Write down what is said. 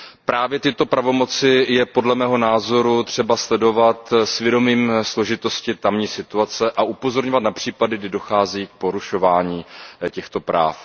Právě tyto pravomoci je podle mého názoru třeba sledovat s vědomím složitosti tamní situace a upozorňovat na případy, kdy dochází k porušování těchto práv.